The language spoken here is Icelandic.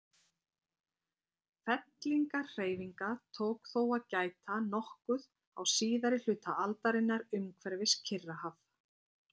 Fellingahreyfinga tók þó að gæta nokkuð á síðari hluta aldarinnar umhverfis Kyrrahaf.